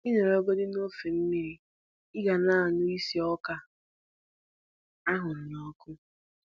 Ị nọrọgodi n'ofe mmiri, Ị ga na-anụ isi ọka a hụrụ n'ọkụ